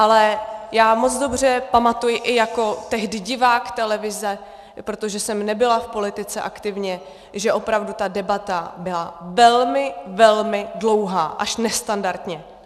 Ale já moc dobře pamatuji i jako tehdy divák televize, protože jsem nebyla v politice aktivně, že opravdu ta debata byla velmi velmi dlouhá, až nestandardně.